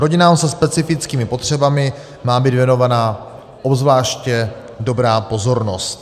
Rodinám se specifickými potřebami má být věnovaná obzvláště dobrá pozornost.